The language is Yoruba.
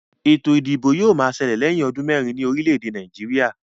Ètò ìdìbò yóò ma ṣẹlẹ̀ lẹ̀yín ọdún mẹ́rin ní orílè èdè Nàìjíríà